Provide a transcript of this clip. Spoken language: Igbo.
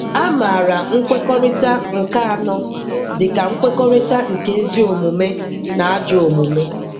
A maara nkwekọrịta nke anọ dịka nkwekọrịta nke eziomume na ajọ omume.